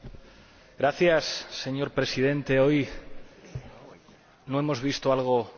Señor Presidente, hoy no hemos visto algo bueno en esta Cámara.